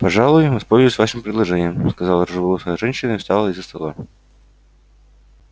пожалуй воспользуюсь вашим предложением сказала рыжеволосая женщина и встала из-за стола